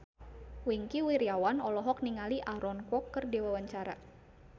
Wingky Wiryawan olohok ningali Aaron Kwok keur diwawancara